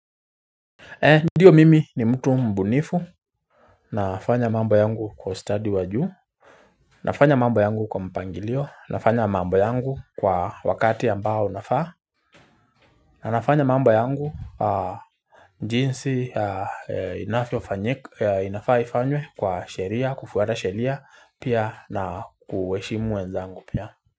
Ndiyo mimi ni mtu mbunifu nafanya mambo yangu kwa ustudy wa juu nafanya mambo yangu kwa mpangilio nafanya mambo yangu kwa wakati ambao unafaa na nafanya mambo yangu jinsi inafaa ifanywe kwa sheria kufuata sheria pia na kuheshimu wenzangu pia.